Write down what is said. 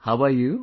How are you